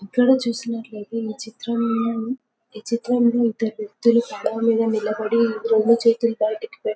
ఇక్కడ చూసినట్టుయితే ఈ చిత్రమ్ ఈ చిత్రమ్లో ఇద్దరు వ్వక్తులు పడవమీద నిలబడి రెండు చేతులు బయటికి పెట్టి--